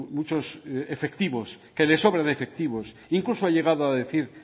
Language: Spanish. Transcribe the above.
muchos efectivos que le sobran efectivos incluso ha llegado a decir